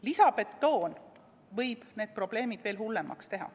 Lisabetoon võib need probleemid veel hullemaks teha.